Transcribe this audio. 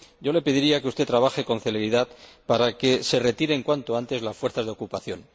Le pediría que usted trabaje con celeridad para que se retiren cuanto antes las fuerzas de ocupación.